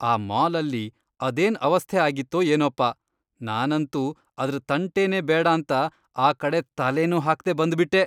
ಆ ಮಾಲ್ಅಲ್ಲಿ ಅದೇನ್ ಅವಸ್ಥೆ ಆಗಿತ್ತೋ ಏನೋಪ, ನಾನಂತೂ ಅದ್ರ್ ತಂಟೆನೇ ಬೇಡಾಂತ ಆ ಕಡೆ ತಲೆನೂ ಹಾಕ್ದೇ ಬಂದ್ಬಿಟ್ಟೆ.